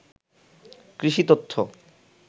কৃষি তথ্য